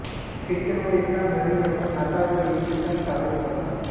Christian व इस्लाम धर्मीय पण नाताळ व ईद चे सण साजरा करतात